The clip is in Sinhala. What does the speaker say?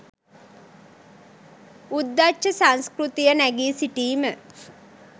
උද්දච්ච සංස්කෘතිය නැගී සිටිම